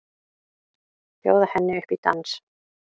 Bjóða henni upp í dans!